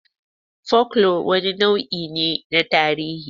Fokelore wani nau'i ne na tarihi.